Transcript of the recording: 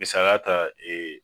Misaliya ta